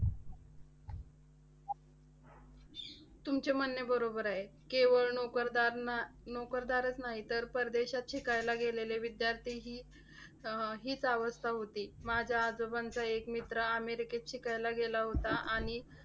तुमचे म्हणणे बरोबर आहे. केवळ नोकरदार ना नोकरदारच नाही, तर परदेशात शिकायला गेलेले विद्यार्थीही अह हीच अवस्था होती. माझ्या आजोबांचा एक मित्र अमेरिकेत शिकायला गेला होता. आणि